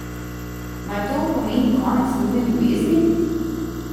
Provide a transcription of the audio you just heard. Mar to pomeni konec njune ljubezni?